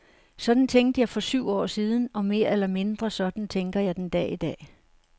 Sådan tænkte jeg for syv år siden, og mere eller mindre sådan tænker jeg den dag i dag.